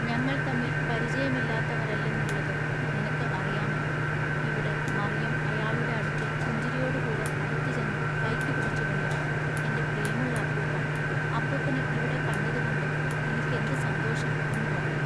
ഞങ്ങൾ തമ്മിൽ പരിചയമില്ലാത്തവരല്ലെന്നുള്ളത് നിനക്കു അറിയാമല്ലൊ ഇവിടെ മറിയം അയാളുടെ അടുക്കൽ പുഞ്ചിരിയോടു കൂടെ അടുത്തുചെന്നു കയ്ക്കു പിടിച്ചുകൊണ്ടു "എന്റെ പ്രിയമുള്ള അപ്പൂപ്പാ അപ്പൂപ്പനെ ഇവിടെകണ്ടതുകൊണ്ടു ഇനിക്കെന്തു സന്തോഷം എന്നു പറഞ്ഞു.